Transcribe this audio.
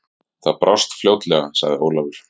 Það brást fljótlega, sagði Ólafur.